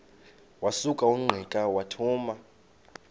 wasuka ungqika wathuma